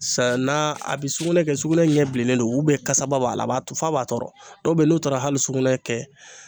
Sa na a bɛ sugunɛ kɛ sugunɛ ɲɛ bilennen don kasaba b'a la a b'a tɔ f'a b'a tɔɔrɔ dɔw bɛ yen n'u taara hali sugunɛ kɛ